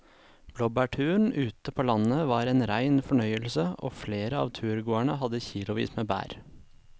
Blåbærturen ute på landet var en rein fornøyelse og flere av turgåerene hadde kilosvis med bær.